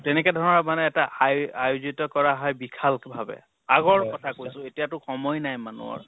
তেনেকে ধৰা মানে এটা high আয়োজিত কৰা হায় বিশাল কে ভাবে। আগত কথা কৈছো, এতিয়াতো সময় নাই মানুহৰ